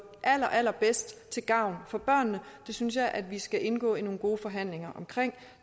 allerallerbedst til gavn for børnene det synes jeg at vi skal indgå i nogle gode forhandlinger om